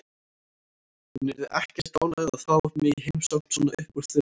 Hún yrði ekkert ánægð að fá mig í heimsókn svona upp úr þurru.